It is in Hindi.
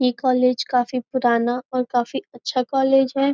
यह कॉलेज काफ़ी पुराना और काफी अच्छा कॉलेज है।